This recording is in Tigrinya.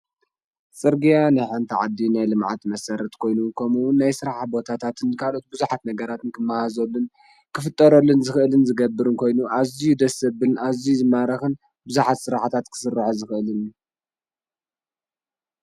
ፅርግያ ናይ ሓንቲ ዓዲ ናይ ልምዓት መሰረት ኮይኑ ከምኡ እዉን ናይ ስራሕ ቦታታት ካልኦት ብዙሓት ነገራትን ክመሃዘሉን ክፍጠረሉን ዝክእልን ዝገብርን ኮይኑ ኣዝዩ ደስ ዘብልን ኣዝዩ ዝማርክን ብዙሓት ስራሕትታት ክስርሖ ዝክእል እዩ።